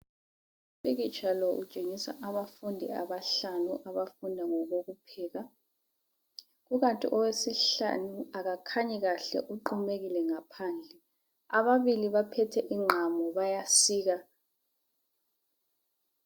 Umpikitsha lo utshengisa abafundi abahlanu abafunda ngokokupheka kukanti owesihlanu akakhanyi kahle uqumekile ngaphandle ababili baphethe ingqamu bayasika